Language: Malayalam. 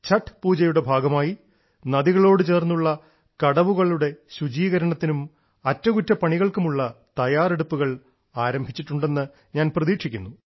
ഛഠ് പൂജയുടെ ഭാഗമായി നദികളോട് ചേർന്നുള്ള കടവുകളുടെ ശുചീകരണത്തിനും അറ്റകുറ്റപ്പണികൾക്കുമുള്ള തയ്യാറെടുപ്പുകൾ ആരംഭിച്ചിട്ടുണ്ടെന്ന് ഞാൻ പ്രതീക്ഷിക്കുന്നു